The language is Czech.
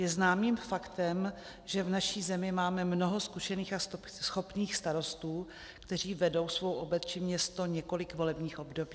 Je známým faktem, že v naší zemi máme mnoho zkušených a schopných starostů, kteří vedou svou obec či město několik volebních období.